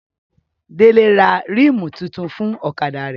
Délé ra rímù tuntun fún ọ̀kadà rẹ̀